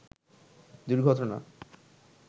দুর্ঘটনা